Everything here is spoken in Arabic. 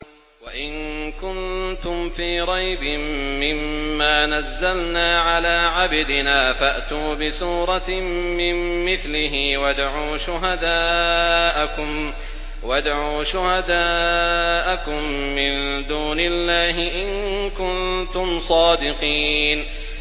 وَإِن كُنتُمْ فِي رَيْبٍ مِّمَّا نَزَّلْنَا عَلَىٰ عَبْدِنَا فَأْتُوا بِسُورَةٍ مِّن مِّثْلِهِ وَادْعُوا شُهَدَاءَكُم مِّن دُونِ اللَّهِ إِن كُنتُمْ صَادِقِينَ